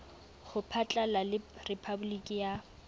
ho phatlalla le rephaboliki ya